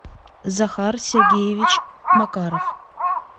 захар сергеевич макаров